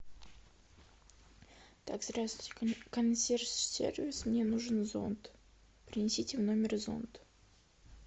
так здравствуйте консьерж сервис мне нужен зонт принесите в номер зонт